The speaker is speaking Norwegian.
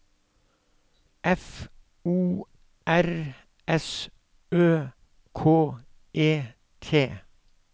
F O R S Ø K E T